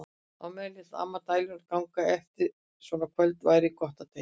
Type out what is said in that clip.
Á meðan lét amma dæluna ganga: Eftir svona kvöld væri gott að deyja.